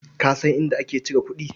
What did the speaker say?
Ka san inda ake cire kuɗi?